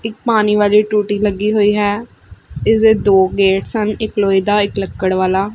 ਇੱਕ ਪਾਨੀ ਵਾਲੀ ਟੂਟੀ ਲੱਗੀ ਹੋਈ ਹੈ ਇੱਸਦੇ ਦੋ ਗੇਟਸ ਹਨ ਇੱਕ ਲੋਹੇ ਦਾ ਇੱਕ ਲੱਕੜ ਵਾਲਾ।